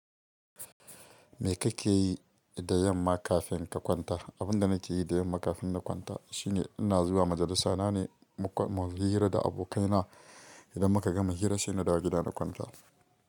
Me kake yi da yamma kafin ka kwanta? Abin da nake yi da yamma kafin na kwanta shine ina zuwa majalisa, na ne muyi hira da abokaina. Idan muka gama hira sai na dawo gida na kwanta.